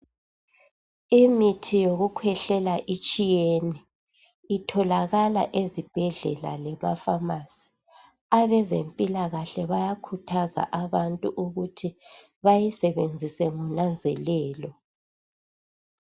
Imithi yokukhwehlela itshiyene itholakala ezibhedlela lemafamasi abezimpilakahle bayakhuthaza abantu ukuthi bayisebenzise ngonanzelelo.